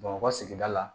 Bamakɔ ka sigida la